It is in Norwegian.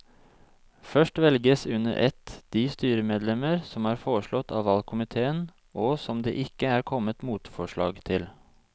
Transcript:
Først velges under ett de styremedlemmer som er foreslått av valgkomiteen og som det ikke er kommet motforslag til.